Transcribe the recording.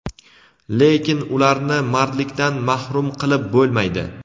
lekin ularni mardlikdan mahrum qilib bo‘lmaydi.